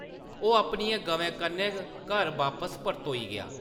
ओह्‌‌ अपनियें गवें कन्नै घर बापस परतोई गेआ ।